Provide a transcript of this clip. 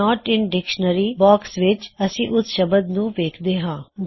note in dictionary box ਵਿੱਚ ਅਸੀ ਉਸ ਸ਼ਬਦ ਨੂੰ ਵੇਖਦੇ ਹਾਂ